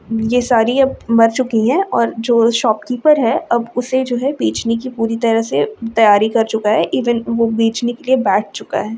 ये सारी अब मर चुकी है और जो शॉप कीपर है अब उसे जो है बेचने की पूरी तरह से तैयारी कर चूका है इवेन वो बेचने के लिए बैठ चूका है।